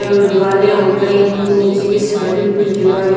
दीवाले उठ रही हैं नीचे की साइड भी कुछ दीवाल--